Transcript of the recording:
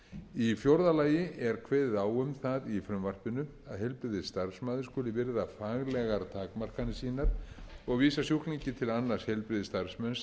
í fjórða lagi er kveðið á um það í frumvarpinu að heilbrigðisstarfsmaður skuli virða faglegar takmarkanir sínar og vísa sjúklingi til annars heilbrigðisstarfsmanns